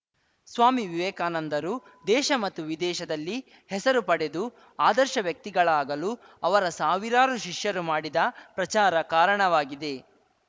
ಸ್ವಾಮಿ ವಿವೇಕಾನಂದರು ದೇಶ ಮತ್ತು ವಿದೇಶದಲ್ಲಿ ಹೆಸರು ಪಡೆದು ಆದರ್ಶ ವ್ಯಕ್ತಿಗಳಾಗಲು ಅವರ ಸಾವಿರಾರು ಶಿಷ್ಯರು ಮಾಡಿದ ಪ್ರಚಾರ ಕಾರಣವಾಗಿದೆ